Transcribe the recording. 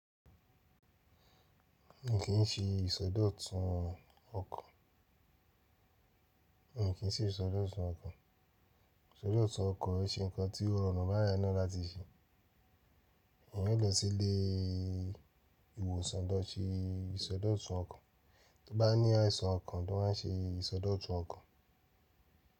N kii ṣe ìsọdọ̀tun ọkàn. Ìsọdọ̀tun ọkàn ṣe nǹkan tí ó rọrùn báyìí náà láti ṣe. E ní lọ sí ilé ìwòsàn dọ́ti ìsọdọ̀tun ọkàn tí ó bá ní àìsàn ọkàn tó ń ṣe ìsọdọ̀tun ọkàn.